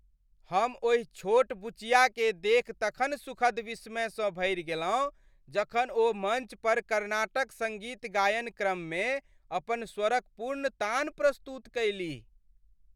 हम ओहि छोट बुचियाके देखि तखन सुखद विस्मयसँ भरि गेलहुँ जखन ओ मञ्च पर कर्नाटक सङ्गीत गायन क्रममे अपन स्वरक पूर्ण तान प्रस्तुत कयलीह।